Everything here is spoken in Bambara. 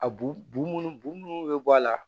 A bulu bo munnu be bɔ a la